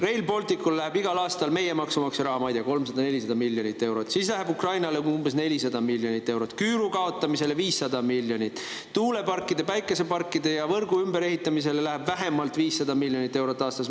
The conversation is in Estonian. Rail Balticule läheb igal aastal meie maksumaksja raha, ma ei tea, 300–400 miljonit eurot, siis läheb Ukrainale umbes 400 miljonit eurot, küüru kaotamisele 500 miljonit, tuuleparkidele, päikeseparkidele ja võrgu ümberehitamisele läheb vähemalt 500 miljonit eurot aastas.